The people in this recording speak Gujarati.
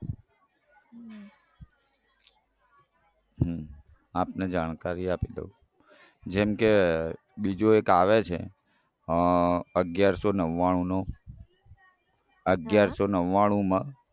હમ આપને જાણકારી આપી દઉં જેમ કે બીજો એક આવે છે અગિયારસો નવ્વાણુનો અગિયારસો નવ્વાણુમાં